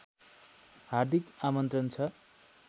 हार्दिक आमन्त्रण छ